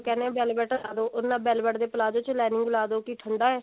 ਮਤਲਬ velvet ਲਗਾਦੋ ਉਹਦੇ ਨਾਲ velvet ਦੇ palazzo ਚ lining ਲਗਾਦੋ ਕਿ ਠੰਡਾ ਹੈ